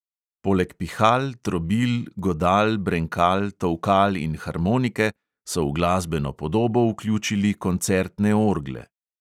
Poleg pihal, trobil, godal, brenkal, tolkal in harmonike so v glasbeno podobo vključili koncertne orgle.